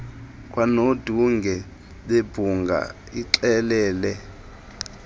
kanodunge bebhunga ixelele